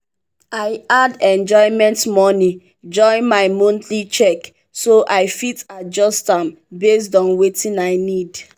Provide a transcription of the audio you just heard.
i add enjoyment money join my monthly check so i fit adjust am based on wetin i need.